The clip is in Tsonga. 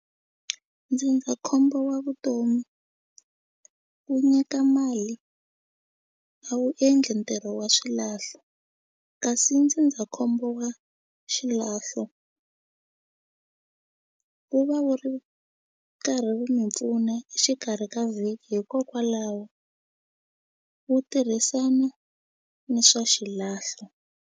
Ndzindzakhombo wa vutomi wu nyika mali a wu endli ntirho wa swilahlo kasi ndzindzakhombo wa xilahlo wu va wu ri karhi wu mi pfuna exikarhi ka vhiki hikokwalaho wu tirhisana ni swa xilahlo.